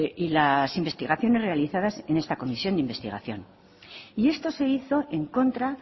y las investigaciones realizadas en esta comisión de investigación y esto se hizo en contra